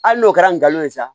Hali n'o kɛra ngalon ye sa